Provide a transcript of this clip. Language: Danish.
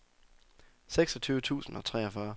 seksogtyve tusind og treogfyrre